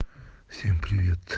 всем привет